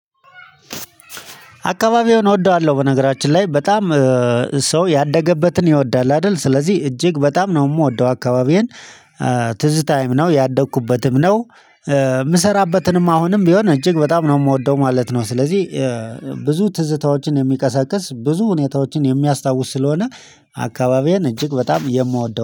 አካባቢውን እወደዋለሁ በነገራችን ላይ በጣም ሰው ያደገበትን ይወዳል አይደል ስለዚህ እጅግ በጣም ነው የምወደው አካባቢዬን። ትዝታዬም ነው ያደግኩበትም ነው የምሰራበትንም አሁንም ቢሆን እጅግ በጣም ነው የምወደው ማለት ነው። ስለዚህ ብዙ ትዝታዎችን የሚቀሰቅስ ብዙ ሁኔታዎችን የሚያስታውስ ስለሆነ አካባቢዬን እጅግ በጣም የምወደው